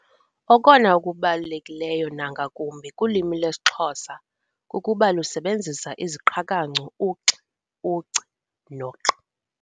Okona kubalulekileyo nangakumbi kulwimi lwesiXhosa kukuba lusebenzisa iziqhakancu, u-x, u-c, no-q.